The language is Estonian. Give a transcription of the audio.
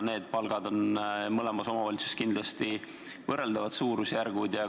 Need palgad on mõlemas omavalitsuses kindlasti võrreldavas suurusjärgus.